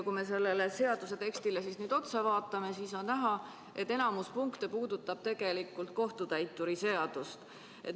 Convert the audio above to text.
Kui me seda seaduse teksti vaatame, siis on näha, et enamik punkte puudutab tegelikult kohtutäituri seadust.